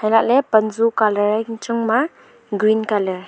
alah ley panzo colour e yang changma green colour .